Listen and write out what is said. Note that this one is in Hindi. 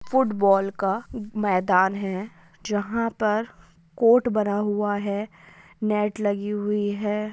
एक फुटबॉल का मैदान है जहा पर कोर्ट बना हुआ है|